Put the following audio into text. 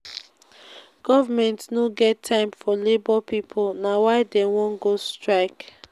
government no get time for labour pipu. na why dey wan go strike.